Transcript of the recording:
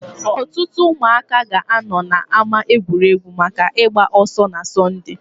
Ọtụtụ ụmụaka ga-anọ na ama egwuregwu maka ịgba ọsọ na Sọnde.